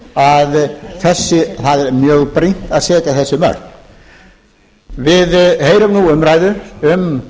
að það er mjög brýnt að setja þessi mörk við heyrum nú umræðu um